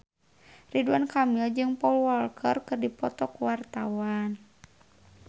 Ridwan Kamil jeung Paul Walker keur dipoto ku wartawan